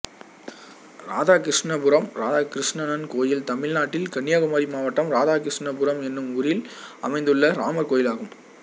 இராதாகிருஷ்ணபுரம் இராதாகிருணணன் கோயில் தமிழ்நாட்டில் கன்னியாகுமரி மாவட்டம் இராதாகிருஷ்ணபுரம் என்னும் ஊரில் அமைந்துள்ள ராமர் கோயிலாகும்